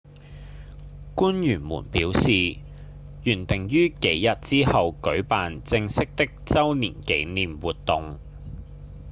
官員們表示原訂於幾日之後舉辦正式的週年紀念活動